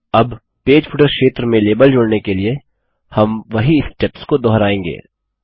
अब page footer क्षेत्र में लेबल जोड़ने के लिए हम वही स्टेप्स को दोहराएँगे